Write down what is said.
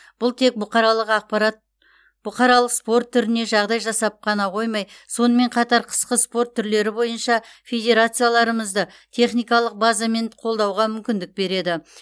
бұл тек бұқаралық ақпарат бұқаралық спорт түріне жағдай жасап қана қоймай сонымен қатар қысқы спорт түрлері бойынша федерацияларымызды техникалық базамен қолдауға мүмкіндік береді